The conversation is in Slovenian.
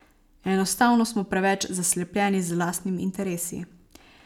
Enostavno smo preveč zaslepljeni z lastnimi interesi.